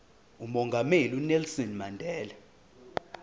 umongameli unelson mandela